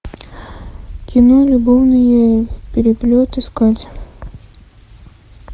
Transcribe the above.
кино любовный переплет искать